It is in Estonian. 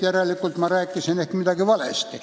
Järelikult ma rääkisin ehk midagi valesti.